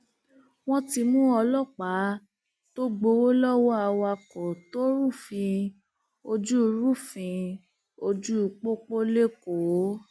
wọn ti mú ọlọpàá tó gbowó lọwọ awakọ tó rúfin ojú rúfin ojú pópó lẹkọọ